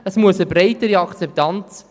Das Projekt braucht eine breitere Akzeptanz.